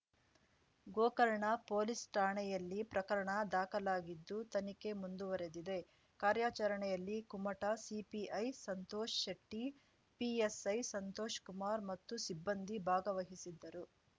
Gokarna police ಠಾಣೆಯಲ್ಲಿ ಪ್ರಕರಣ ದಾಖಲಾಗಿದ್ದು ತನಿಖೆ ಮುಂದುವರಿದಿದೆ ಕಾರ್ಯಾಚರಣೆಯಲ್ಲಿ ಕುಮಟಾ ಸಿಪಿಐ ಸಂತೋಷ್ ಶೆಟ್ಟಿ ಪಿಎಸ್‌ಐ ಸಂತೋಷ್ ಕುಮಾರ್ ಮತ್ತು ಸಿಬ್ಬಂದಿ ಭಾಗವಹಿಸಿದ್ದರು